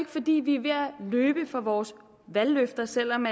fordi vi er ved at løbe fra vores valgløfter selv om